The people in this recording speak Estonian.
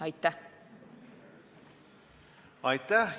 Aitäh!